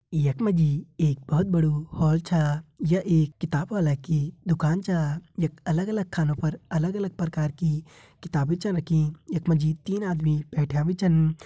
यख मा जी एक बहुत बडू हॉल छ यह एक किताबवाला की दुकान छ यख अलग-अलग खानों पर अलग- अलग प्रकार की किताबें छ रखीं यख मा जी तीन आदमी बैठ्यां भी छन।